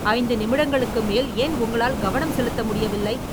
ஐந்து நிமிடங்களுக்கு மேல் ஏன் உங்களால் கவனம் செலுத்த முடியவில்லை?